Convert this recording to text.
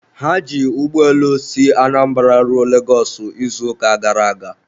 ha ji ụgbọelu si Anambra ruo Lagos izuụka gara aga